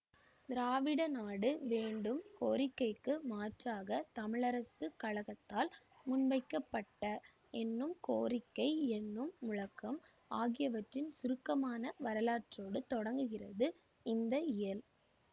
திராவிடநாடு வேண்டும் கோரிக்கைக்கு மாற்றாக தமிழரசுக் கழகத்தால் முன்வைக்கப்பட்ட என்னும் கோரிக்கை என்னும் முழக்கம் ஆகியவற்றின் சுருக்கமான வரலாற்றோடு தொடங்குகிறது இந்த இயல்